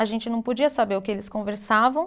A gente não podia saber o que eles conversavam.